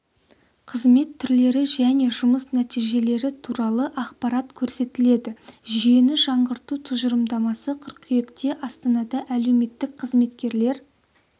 қызмет түрлері және жұмыс нәтижелері туралы ақпарат көрсетіледі жүйені жаңғырту тұжырымдамасы қыркүйекте астанада әлеуметтік қызметкерлер